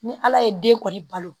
Ni ala ye den kɔni balo